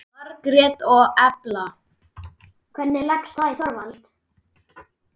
Margrét og Elfa.